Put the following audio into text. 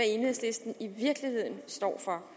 enhedslisten i virkeligheden står for